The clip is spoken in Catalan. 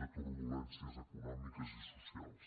de turbulències econòmiques i socials